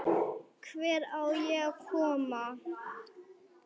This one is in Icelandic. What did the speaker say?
Hvert á ég að koma?